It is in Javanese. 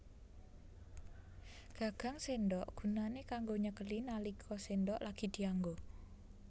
Gagang séndhok gunané kanggo nyekeli nalika séndhok lagi dianggo